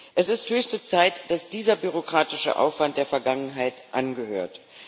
Es ist höchste Zeit, dass dieser bürokratische Aufwand der Vergangenheit angehört.